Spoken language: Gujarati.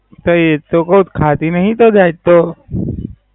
તે એ જ તો કવ છ ખાતી નય તી નય જાતકો.